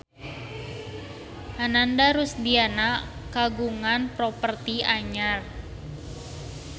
Ananda Rusdiana kagungan properti anyar